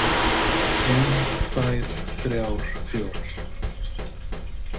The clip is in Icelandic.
Ein, tvær, þrjár, fjórar.